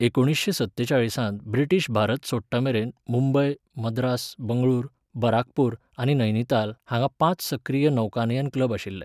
एकुणिशें सत्तेचाळीसांत ब्रिटीश भारत सोडटामेरेन मुंबय, मद्रास, बंगळूर, बराकपूर आनी नैनिताल हांगा पांच सक्रीय नौकानयन क्लब आशिल्ले.